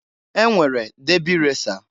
E nwere debi resa.